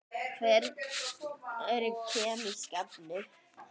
Hvað eru kemísk efni?